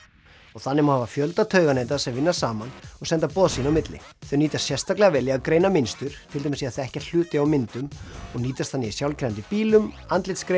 og þannig hafa fjölda tauganeta sem vinna saman og senda boð sín á milli þau nýtast sérstaklega vel í að greina mynstur til dæmis í að þekkja hluti á myndum og nýtast þannig í sjálfkeyrandi bílum